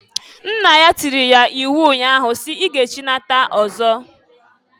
Nna ya tiiri ya iwu nnya ahụ si, "I ga echinata ọzọ!"